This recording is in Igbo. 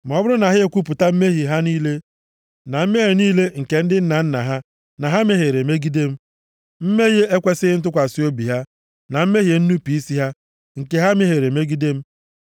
“ ‘Ma ọ bụrụ na ha ekwupụta mmehie + 26:40 \+xt 1Jọn 1:9\+xt* ha niile, na mmehie niile nke ndị nna nna na ha na ha mehiere megide m, mmehie ekwesighị ntụkwasị obi ha, na mmehie nnupu isi ha, nke ha mehiere megide m,